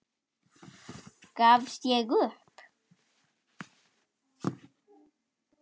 Gafst ég upp?